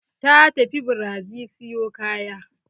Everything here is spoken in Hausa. Ta tafi brazi siyo kaya.